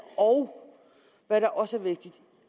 hvad der også er vigtigt